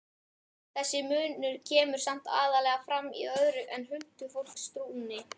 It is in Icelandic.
Þessi munur kemur samt aðallega fram í öðru en huldufólkstrúnni.